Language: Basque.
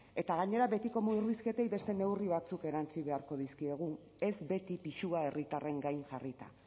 eta gainera betiko murrizketei beste neurri batzuk erantsi beharko dizkiegu ez beti pisua herritarren gain jarrita